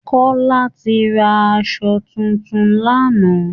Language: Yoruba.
Kọ́lá ti ra asọ tuntun lánàá